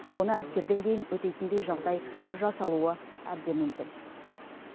оны әскерден кейін өтейтіндей жағдай жасалуы әбден мүмкін